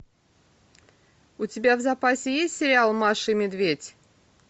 у тебя в запасе есть сериал маша и медведь